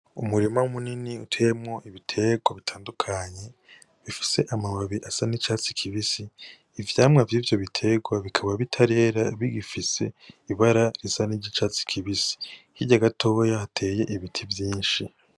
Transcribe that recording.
Umurima munini uteyemwo ibiterwa bitandukanye bifise amababi asa n'icatsi kibisi ivyamwa vy'ivyo biterwa bikaba bitarera bigifise ibara risa n'iryicatsi kibisi, hirya gatoya hateye ibiti vyinshi.